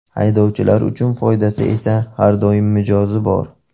Haydovchilar uchun foydasi esa har doim mijozi bor.